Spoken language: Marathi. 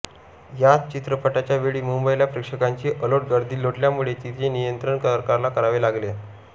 याच चित्रपटाच्या वेळी मुंबईला प्रेक्षकांची अलोट गर्दी लोटल्यामुळे तिचे नियंत्रण सरकारला करावे लागले